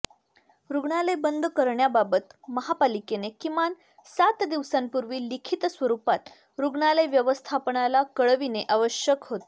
रुग्णालय बंद करण्याबाबत महापालिकेने किमान सात दिवसांपूर्वी लिखित स्वरुपात रुग्णालय व्यवस्थापनाला कळविणे आवश्यक होते